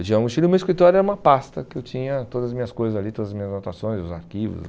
Eu tinha a mochila e meu escritório era uma pasta que eu tinha todas as minhas coisas ali, todas as minhas anotações, os arquivos.